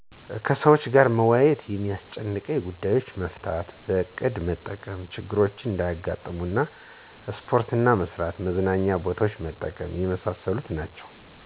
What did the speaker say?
ከሰወች ጋር በመወያየት የሚያስጨንቁ ጉዳዬችን መፍታት፣ በዕቅድ መጠቀም ችግሮች እንዳያጋጥሙን፣ ስፖርት መስራት፣ መዝናኛ ቦታዎችን መጠቀም የመሣሠሉት ናቸዉ።